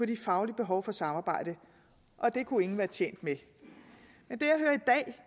de faglige behov for samarbejde og det kunne ingen være tjent med men